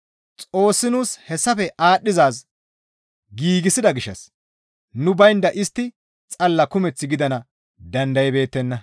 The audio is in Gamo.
Xoossi nuus hessafe aadhdhizaaz giigsida gishshas nu baynda istti xalla kumeth gidana dandaybeettenna.